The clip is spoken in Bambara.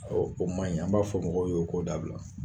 Awɔ o maɲi, an b'a fɔ mɔgɔw ye u k'o dabila.